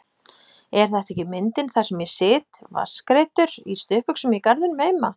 Er þetta ekki myndin þar sem ég sit vatnsgreiddur og í stuttbuxum í garðinum heima?